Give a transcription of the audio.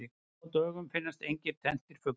Nú á dögum finnast engir tenntir fuglar.